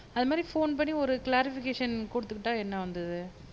அது மாதிரி ஃபோன் பண்ணி ஒரு க்ளாரிஃபிகேஷன் குடுத்துக்கிட்டா என்ன வந்தது